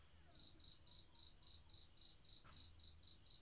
.